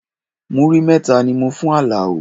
Múrí mẹ́ta ni mo fún Alao